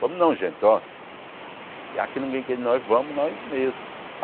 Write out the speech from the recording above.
Vamos não, gente, ó. E aqui ninguém quer, nós vamos nós mesmos.